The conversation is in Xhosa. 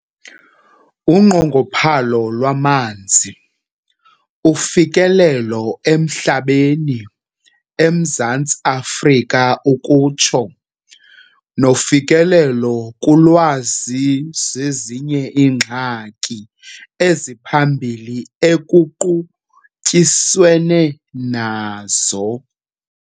Unqongophalo lwamanzi, ufikelelo emhlabeni, eMzantsi Afrika ukutsho, nofikelelo kulwazi zezinye zeengxaki eziphambili ekuqutyiswene nazo.